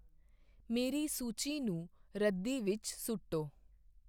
ਮੇਰੀ ਸੂਚੀ ਨੂੰ ਰੱਦੀ ਵਿੱਚ ਸੁੱਟੋ